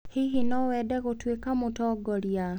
Hihi no wende gũtuĩka mũtongoria?